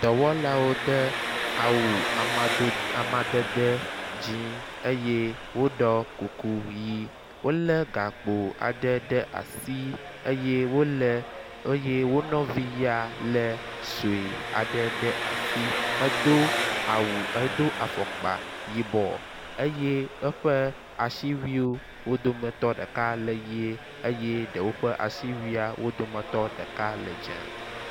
Dɔwɔlawo te awu amado amadede dzi eye woɖɔ kuku ʋi wo le gakpo aɖe ɖe asi eye wo le eye wo nɔvi ya le sue aɖe ɖe asi hedo awu hedo afɔkpa yibɔ eye eƒe asiwuiwo wo dometɔ ɖeka le ʋi eye ɖewo ƒe asiwuia wo dometɔ ɖeka le dze.